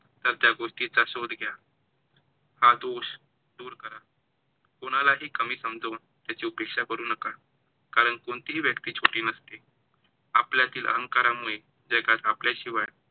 तर त्या गोष्टीचा शोध घ्या, हा दोष दूर करा. कोणालाही कमी समजून त्याची उपेक्षा करू नका, कारण कोणतीही व्यक्ती छोटी नसते. आपल्यातील अहंकारामुळे जगात आपल्याशिवाय